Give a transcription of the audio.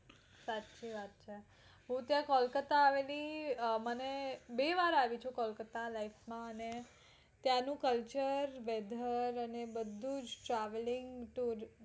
સાચી વાત છે હું જયારે કોલકાતા આવે લી અ મને બે વાર આવી છું કોલકાતા life માં અને ત્યાં નું weather culture અને બધું જ travelling tour